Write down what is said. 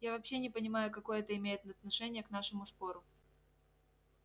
я вообще не понимаю какое это имеет отношение к нашему спору